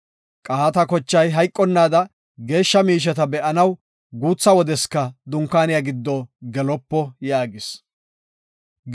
Qahaata kochay hayqonnaada geeshsha miisheta be7anaw guutha wodeska Dunkaaniya giddo gelopo” yaagis.